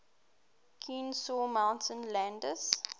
kenesaw mountain landis